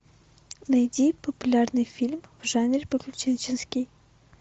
найди популярный фильм в жанре приключенческий